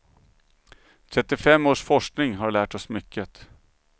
Trettiofem års forskning har lärt oss mycket.